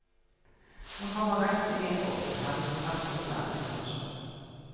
Man kommer rett inn i en åpen hall med trapp opp til annen etasje.